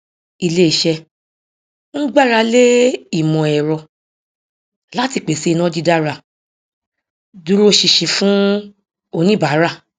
iléiṣẹ ń gbáralé ìmọẹrọ láti pèsè iná dídára dúróṣinṣin fún oníbàárà